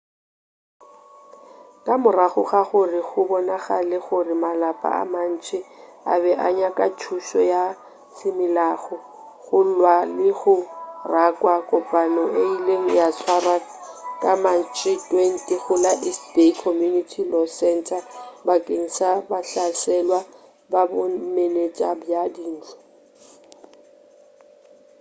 ka morago ga gore go bonagale gore malapa a mantši a be a nyaka thušo ya semolao go lwa le go rakwa kopano e ile ya tswarwa ka matšhe 20 go la east bay community law center bakeng sa bahlaselwa ba bomenetša bja dintlo